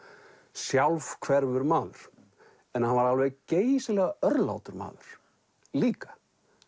sjálfhverfur maður en hann var alveg geysilega örlátur maður líka